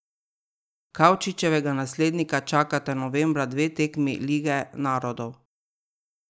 Kavčičevega naslednika čakata novembra dve tekmi lige narodov.